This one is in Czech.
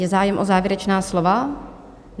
Je zájem o závěrečná slova?